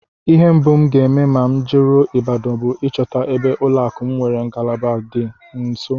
Ihe mbụ m ga-eme ma m jeruo Ibadan bụ ịchọta ebe ụlọakụ m nwere ngalaba dị m nso